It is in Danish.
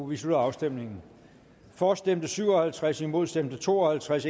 vi slutter afstemningen for stemte syv og halvtreds imod stemte to og halvtreds